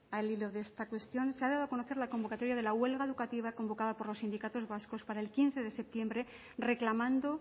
al hilo de esta cuestión se ha dado a conocer la convocatoria de la huelga educativa convocada por los sindicatos vascos para el quince de septiembre reclamando